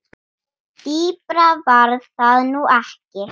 Dýpra var það nú ekki.